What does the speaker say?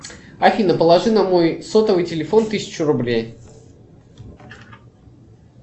афина положи на мой сотовый телефон тысячу рублей